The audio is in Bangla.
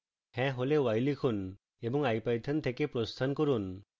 হ্যাঁ হলে y লিখুন এবং ipython থেকে প্রস্থান করুন